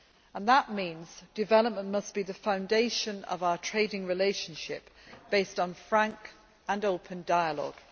And that means development must be the foundation of our trading relationship based on frank and open dialogue.